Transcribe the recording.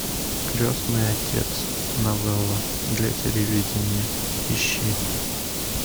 крестный отец новелла для телевидения ищи